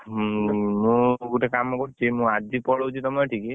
ମୁ ଗୋଟେ କାମ କରୁଛି ମୁ ଆଜି ପଳଉଛି ତମ ସେଇଠିକି।